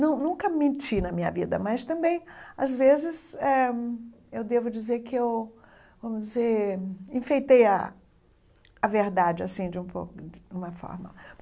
Não nunca menti na minha vida, mas também, às vezes eh, eu devo dizer que eu vamos dizer enfeitei a a verdade assim de um de uma forma.